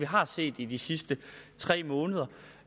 har set i de sidste tre måneder